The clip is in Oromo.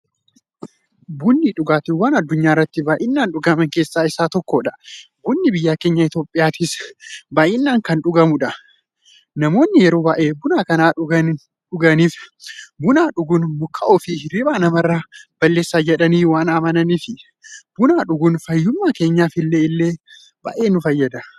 Bunni dhugaatiiwwan addunyaarratti baay'inaan dhugaman keessaa isa tokkodha. Bunni biyya keenya Itiyoophiyaattis baay'inaan kan dhugamuudha. Namoonni yeroo baay'ee buna kan dhuganiif, buna dhuguun mukaa'ummaafi hirriiba namarraa balleessa jedhanii waan amananiifi. Buna dhuguun fayyummaa keenyaf illee baay'ee nu fayyada.